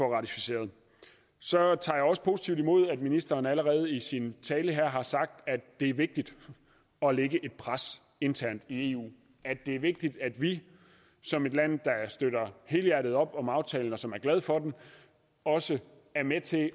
ratificerer så tager jeg også positivt imod at ministeren allerede i sin tale her har sagt at det er vigtigt at lægge et pres internt i eu at det er vigtigt at vi som et land der støtter helhjertet op om aftalen og som er glad for den også er med til